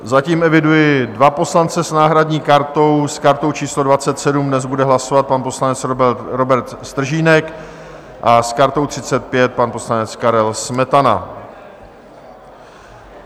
Zatím eviduji dva poslance s náhradní kartou, s kartou číslo 27 dnes bude hlasovat pan poslanec Robert Stržínek a s kartou 35 pan poslanec Karel Smetana.